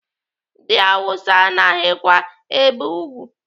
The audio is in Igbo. Ndị Awụsa anaghịkwa ebe ùgwù.